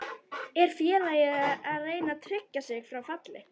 Er félagið að reyna að tryggja sig frá falli?